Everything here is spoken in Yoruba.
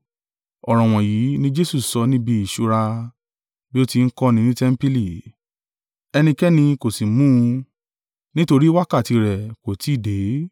Ọ̀rọ̀ wọ̀nyí ni Jesu sọ níbi ìṣúra, bí ó ti ń kọ́ni ní tẹmpili, ẹnikẹ́ni kò sì mú un; nítorí wákàtí rẹ̀ kò tí ì dé.